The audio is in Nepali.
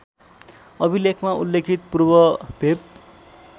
अभिलेखमा उल्लेखित पूर्वभेव